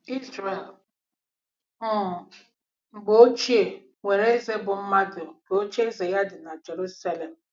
Izrel um mgbe ochie nwere eze bụ́ mmadụ nke ocheeze ya dị na Jeruselem.